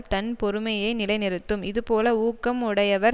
தன் பெருமையை நிலைநிறுத்தும் இதுபோல ஊக்கம் உடையவர்